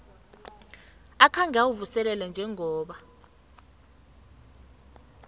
akhange uwuvuselele njengoba